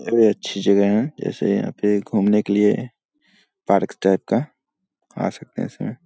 ये भी अच्छी जागह हैं जैसे यहाँ पे घूमने के लिए पार्क टाइप का आ सकते हैं इसमें।